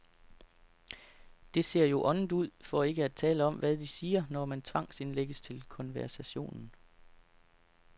Det ser jo åndet ud, for ikke at tale om, hvad de siger, når man tvangsindlægges til konversationen.